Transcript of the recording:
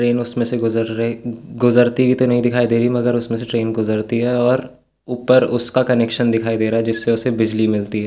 Train उसमे से गुजर रही गुजरती हुवी तो नहीं दिखाई दे रही मगर उसमे से ट्रैन गुजरती है और उपर उसका कनेक्शन दिखाई दे रहा है जिससे उसे बिजली मिलती है।